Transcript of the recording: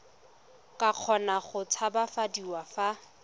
ka kgona go tshabafadiwa fa